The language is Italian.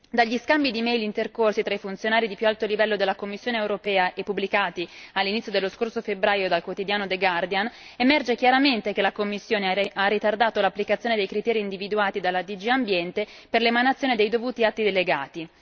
Dagli scambi di email intercorsi tra i funzionari di più alto livello della Commissione europea e pubblicati all'inizio dello scorso febbraio dal quotidiano The Guardian emerge chiaramente che la Commissione ha ritardato l'applicazione dei criteri individuati dalla DG Ambiente per l'emanazione dei dovuti atti delegati.